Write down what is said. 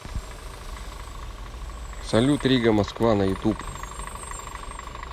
салют рига москва на ютуб